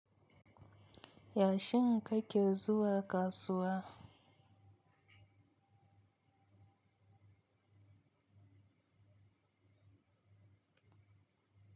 Yashin kake zuwa kasuwa.